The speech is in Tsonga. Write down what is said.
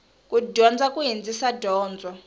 ku dyondza ku hindzisa donzo